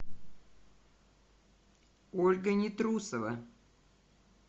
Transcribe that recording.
ольга нетрусова